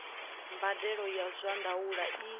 mbadelo ya zwa ndaulo i